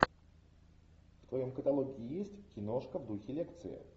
в твоем каталоге есть киношка в духе лекции